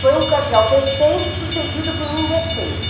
Foi um cardeal decente sucedido por um indecente.